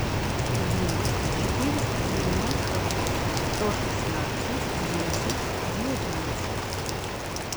девять четыреста девяносто восемь сто шестнадцать десять девятнадцать